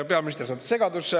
Peaminister sattus segadusse.